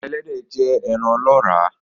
Eran Ẹlẹ́dẹ̀ jẹ́ ẹran ọlọ́ọ́rà